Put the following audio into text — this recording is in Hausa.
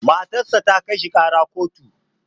Matar sa ta kai shi ƙara kotu.